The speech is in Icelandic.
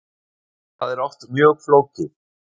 Það er oft mjög flókið.